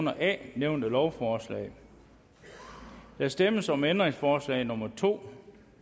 under a nævnte lovforslag der stemmes om ændringsforslag nummer to